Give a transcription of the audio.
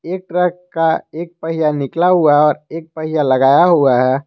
एक ट्रक का एक पहिया निकाला हुआ है और एक पहिया लगाया हुआ है।